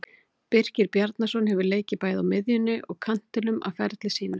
Birkir Bjarnason hefur leikið bæði á miðjunni og kantinum á ferli sínum.